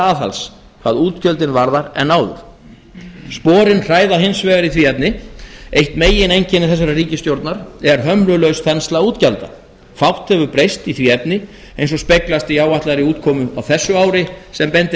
aðhalds hvað útgjöldin varðar en áður sporin hræða hins vegar í því efni eitt megineinkenni þessarar ríkisstjórnar er hömlulaus þensla útgjalda fátt hefur breyst í því efni eins og speglast í áætlaðri útkomu á þessu ári sem bendir